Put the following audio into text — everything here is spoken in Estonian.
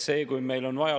See, kui meil on vaja …